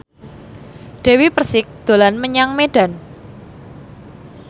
Dewi Persik dolan menyang Medan